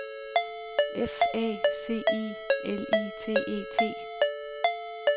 F A C I L I T E T